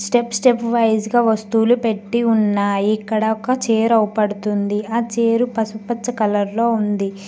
Step step wise గా వస్తువులు పెట్టి ఉన్నాయి ఇక్కడ ఒక చైర్ కనపడుతుంది ఆ చేరు పసుపచ్చ కలర్ లో ఉంది.